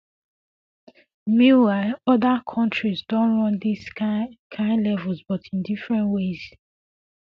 meanwhile oda kontris don run dis um kain kain levels but in different ways